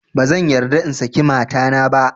Ba zan yarda in saki matana ba